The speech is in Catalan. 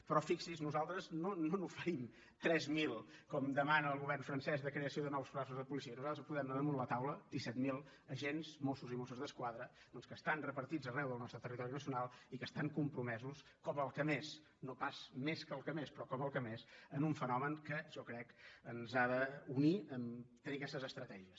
però fixi’s nosaltres no n’oferim tres mil com demana el govern francès de creació de noves places de policia nosaltres posem damunt la taula disset mil agents mossos i mosses d’esquadra doncs que estan repartits arreu del nostre territori nacional i que estan compromesos com el que més no pas més que el que més però com el que més en un fenomen que jo crec ens ha d’unir a tenir aquestes estratègies